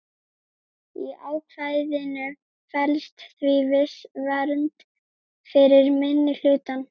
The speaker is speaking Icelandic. Í ákvæðinu felst því viss vernd fyrir minnihlutann.